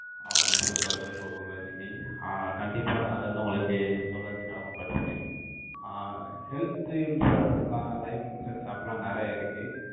ஆஹ் super super Guru Lakshmi. ஆஹ் கண்டிப்பா, நான், அதை வந்து, உங்களுக்கு சொல்ல வைக்க, கடமைப்பட்டிருக்கேன். ஆஹ் health insurancelife insurance அப்டிலாம், நிறைய இருக்கு.